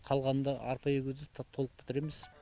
қалғанында арпа егуді тап толық бітіреміз